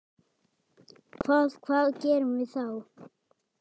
Hvað, hvað gerum við þá?